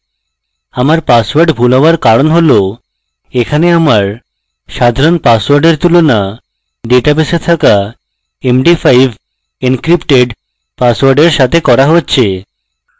আমার পাসওয়ার্ড ভুল হওয়ার কারণ হল এখানে আমার সাধারণ পাসওয়ার্ডের তুলনা ডেটাবেসে থাকা md5encrypted পাসওয়ার্ডের সাথে করা হচ্ছে